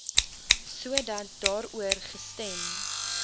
sodat daaroor gestem